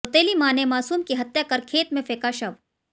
सौतेली मां ने मासूम की हत्या कर खेत में फेंका शव